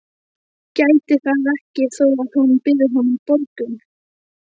Gæti það ekki þó að hún byði honum borgun.